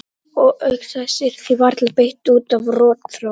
Og auk þess yrði því varla beitt út af rotþró.